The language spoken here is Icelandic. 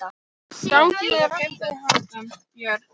Gangi þér allt í haginn, Björn.